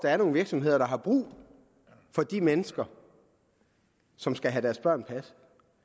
er nogle virksomheder der har brug for de mennesker som skal have deres børn passet